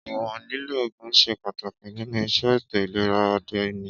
ìwọ̀n lílò oògùn ṣe pàtàkì nínu iṣẹ́ ètò ìlera òde òní